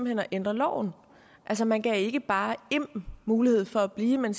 hen at ændre loven altså man gav ikke bare im mulighed for at blive man